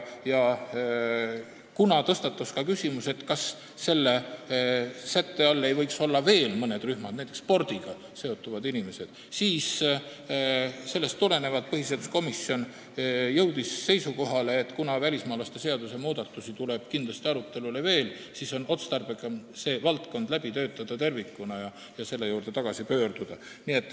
Kuna tõstatus küsimus, kas selle sätte all ei võiks olla veel mõned rühmad, näiteks spordiga seonduvad inimesed, siis sellest tulenevalt jõudis põhiseaduskomisjon seisukohale, et kuna välismaalaste seaduse muudatusi tuleb kindlasti arutelule veel, siis on otstarbekam see valdkond tervikuna läbi töötada ja selle juurde tagasi pöörduda.